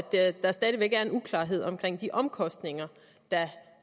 der stadig væk er uklarhed om de omkostninger der